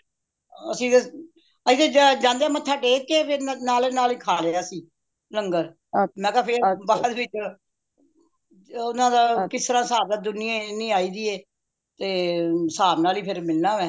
ਅੱਸੀ ਤੇ ਅੱਸੀ ਤੇ ਜਾਂਦਿਆਂ ਮੱਠਾ ਟੇਕ ਕੇ ਫੇਰ ਨਾਲੇ ਨਾਲੇ ਖਾ ਲਿਆ ਸੀ ਲੰਗਰ ਮੈਂ ਕਿਆ ਫੇਰ ਵਾਪਸ ਚ ਫੇਰ ਓਹਨਾ ਦਾ ਕਿਸ ਤਰ੍ਹਾਂ ਹਿਸਾਬ ਏ ਦੁਨੀਆ ਇੰਨੀ ਈ ਦੀ ਏ ਤੇ ਹਿਸਾਬ ਨਾਲ ਈ ਫੇਰ ਮਿਲਣਾ ਏ